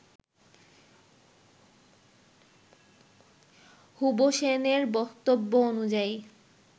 হুবশেনের বক্তব্য অনুযায়ী